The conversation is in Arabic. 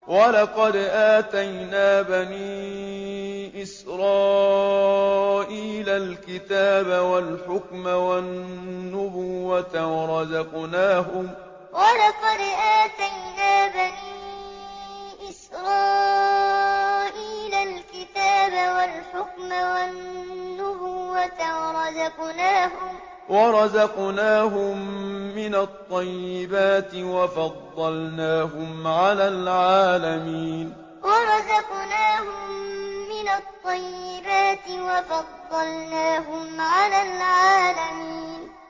وَلَقَدْ آتَيْنَا بَنِي إِسْرَائِيلَ الْكِتَابَ وَالْحُكْمَ وَالنُّبُوَّةَ وَرَزَقْنَاهُم مِّنَ الطَّيِّبَاتِ وَفَضَّلْنَاهُمْ عَلَى الْعَالَمِينَ وَلَقَدْ آتَيْنَا بَنِي إِسْرَائِيلَ الْكِتَابَ وَالْحُكْمَ وَالنُّبُوَّةَ وَرَزَقْنَاهُم مِّنَ الطَّيِّبَاتِ وَفَضَّلْنَاهُمْ عَلَى الْعَالَمِينَ